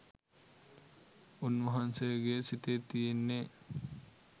උන්වහන්සේගේ සිතේ තියෙන්නේ